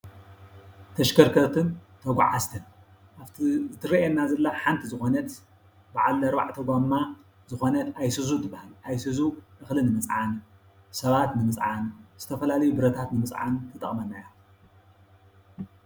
ተሽከርከርትን ተጓዓዝትን-ኣብቲ ትረአየና ዘላ ሓንቲ ዝኾነት በዓል ኣርባዕተ ጎማ ዝኾነት ኣይሱዙ ትበሃል፡፡ ኣይሱዙ እኽሊ ንምፅዓን፣ ሰባት ንምፅዓን፣ ዝተፈላለዩ ብረታት ንምፅዓን ትጠቕመና እያ፡፡